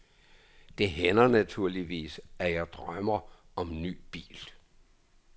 Det hænder naturligvis, at jeg drømmer om ny bil.